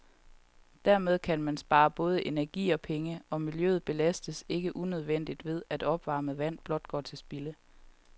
Dermed kan man spare både energi og penge, og miljøet belastes ikke unødigt ved, at opvarmet vand blot går til spilde.